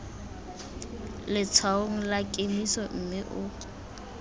letshwaong la kemiso mme o